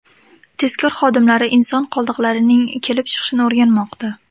Tezkor xodimlari inson qoldiqlarining kelib chiqishini o‘rganmoqda.